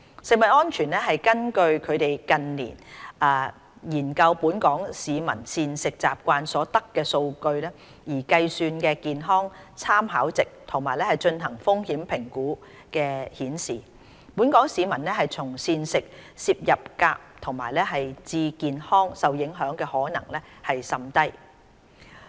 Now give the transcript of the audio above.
食安中心根據近年研究本港市民膳食習慣所得的數據而計算的健康參考值及進行的風險評估顯示，本港市民從膳食攝入鎘致健康受影響的可能甚低。